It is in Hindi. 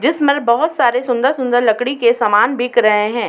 जिसमल बहोत सारे सुन्दर-सुन्दर लकड़ी के समान बिक रहे हैं।